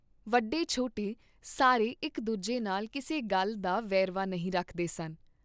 ਵੱਡੇ ਛੋਟੇ ਸਾਰੇ ਇਕ ਦੂਜੇ ਨਾਲ ਕਿਸੇ ਗੱਲ ਦਾ ਵੇਰਵਾ ਨਹੀਂ ਰੱਖਦੇ ਸਨ।